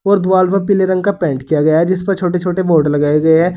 और द्वाल पर पीले रंग का पेंट किया गया है जिस पर छोटे छोटे बोर्ड लगाए गए हैं।